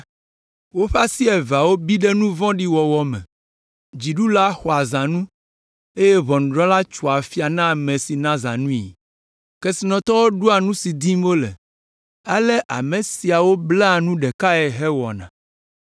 Woƒe asi eveawo bi ɖe nu vɔ̃ɖi wɔwɔ me. Dziɖula xɔa zãnu eye ʋɔnudrɔ̃la tsoa afia na ame si na zãnue. Kesinɔtɔwo ɖoa nu si dim wole; ale ame siawo blaa nu ɖekae hewɔna.